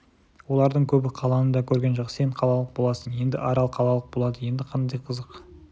олардың көбі қаланы да көрген жоқ сен қалалық боласың енді арал қалалық болады енді қандай қызық